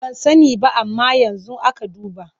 Ban sani ba amma yanzu aka duba.